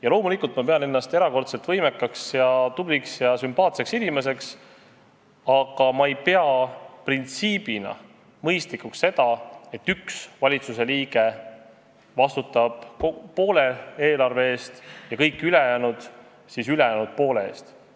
Ja loomulikult ma pean ennast erakordselt võimekaks ja tubliks ja sümpaatseks inimeseks, aga ma ei pea printsiibina mõistlikuks seda, et valitsuse üks liige vastutab poole eelarve eest ja kõik ülejäänud ülejäänud poole eest.